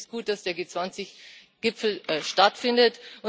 Deshalb finde ich es gut, dass der G20 Gipfel stattfindet.